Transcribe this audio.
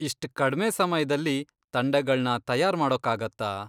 ಇಷ್ಟ್ ಕಡ್ಮೆ ಸಮಯ್ದಲ್ಲಿ ತಂಡಗಳ್ನ ತಯಾರ್ ಮಾಡೋಕ್ಕಾಗತ್ತಾ?